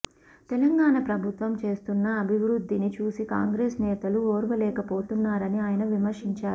తెలంగాణ ప్రభుత్వం చేస్తున్న అభివృద్ధిని చూసి కాంగ్రెస్ నేతలు ఓర్వలేకపోతున్నారని ఆయన విమర్శించారు